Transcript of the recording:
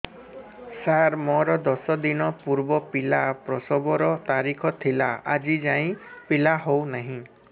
ସାର ମୋର ଦଶ ଦିନ ପୂର୍ବ ପିଲା ପ୍ରସଵ ର ତାରିଖ ଥିଲା ଆଜି ଯାଇଁ ପିଲା ହଉ ନାହିଁ